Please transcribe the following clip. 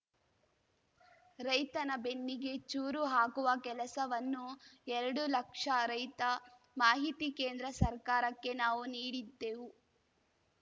ರೈತನ ಬೆನ್ನಿಗೆ ಚೂರು ಹಾಕುವ ಕೆಲಸವನ್ನು ಎರಡು ಲಕ್ಷ ರೈತ ಮಾಹಿತಿ ಕೇಂದ್ರ ಸರ್ಕಾರಕ್ಕೆ ನಾವು ನೀಡಿದ್ದೆವು